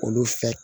Olu fɛ